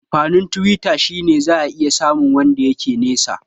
Amfanin Twitter shine zaka iya samu wanda yake nisa